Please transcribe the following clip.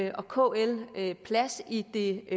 og kl plads i det